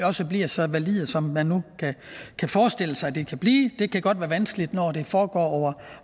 også bliver så valide som man nu kan forestille sig de kan blive det kan godt være vanskeligt når det foregår over